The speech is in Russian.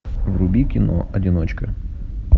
вруби кино одиночка